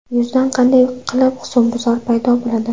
Yuzda qanday qilib husnbuzar paydo bo‘ladi?